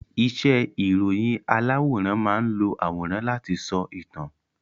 Iṣẹ́ ìròyìn aláwòrán máán lo àwòrán láti sọ ìtàn